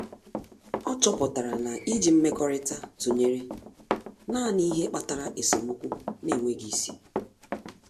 Ọ́ chọ́pụ̀tárà na íjí mmekọrịta tụnyere nāànị́ ihe kpatara esemokwu n’énwéghị́ isi.